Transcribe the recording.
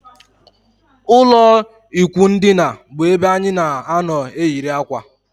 Ụlọ ikwụ ndina bu ebe anyị na anọ eyiri akwa